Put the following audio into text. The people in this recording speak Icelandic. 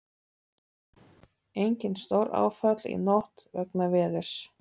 Engin stóráföll í nótt vegna veðurs